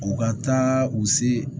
U ka taa u se